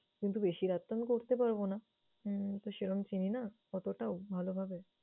কিন্তু বেশি রাত তো আমি করতে পারবো না। হুম তো সেরকম চিনি না অতটাও ভালোভাবে।